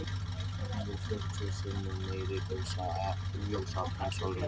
Hún hefur fimmtíu sinnum meira ljósafl en sólin okkar.